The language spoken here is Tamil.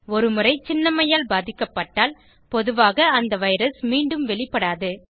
ஒருமுறை சின்னம்மையால் பாதிக்கப்பட்டால் பொதுவாக அந்த வைரஸ் மீண்டும் வெளிப்படாது